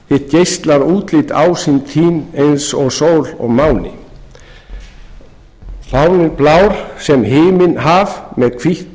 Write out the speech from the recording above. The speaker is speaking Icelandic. geislar útlit ásýnd þín eins og sól og máni fáninn blár sem himinn haf með hvítt